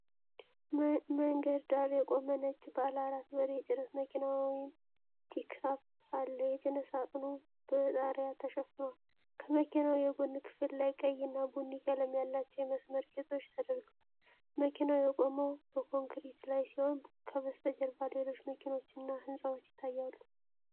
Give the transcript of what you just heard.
መንገድ ዳር የቆመ ነጭ ባለ አራት በር የጭነት መኪና (ፒክአፕ) አለ። የጭነት ሳጥኑ በጣሪያ ተሸፍኗል። ከመኪናው የጎን ክፍል ላይ ቀይ እና ቡኒ ቀለም ያላቸው የመስመር ጌጦች ተደርገዋል። መኪናው የቆመው በኮንክሪት ላይ ሲሆን፣ ከበስተጀርባ ሌሎች መኪኖችና ሕንፃዎች ይታያሉ።